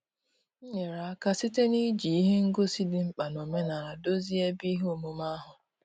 M nyere aka site na-iji ihe ngosi dị mkpa n'omenala dozie ebe ihe omume ahụ.